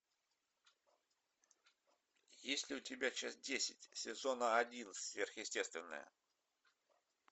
есть ли у тебя часть десять сезона один сверхъестественное